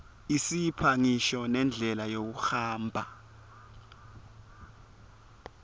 isipha ngisho nendlela yekuhamba